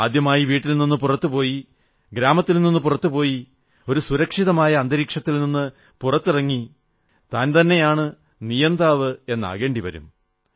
ആദ്യമായി വീട്ടിൽ നിന്ന് പുറത്തു പോയി ഗ്രാമത്തിൽ നിന്ന് പുറത്തു പോയി ഒരു സുരക്ഷിതമായ അന്തരീക്ഷത്തിൽ നിന്ന് പുറത്തിറങ്ങി താൻതന്നയാണ് നിയന്താവ് എന്നാകേണ്ടി വരും